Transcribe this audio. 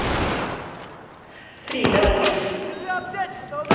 Frida Olufsen